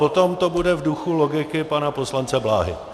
Potom to bude v duchu logiky pana poslance Bláhy.